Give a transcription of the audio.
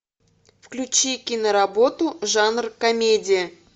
включи киноработу жанр комедия